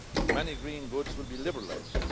Many green goods will be liberalised.